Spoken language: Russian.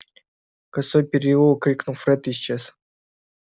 косой переулок крикнул фред и исчез